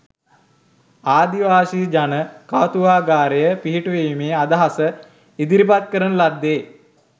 ආදිවාසී ජන කෞතුකාගාරය පිහිටුවීමේ අදහස ඉදිරිපත් කරන ලද්දේ